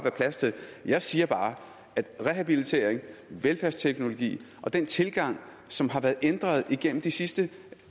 plads til jeg siger bare at rehabiliteringen velfærdsteknologien og den tilgang som har været ændret igennem de sidste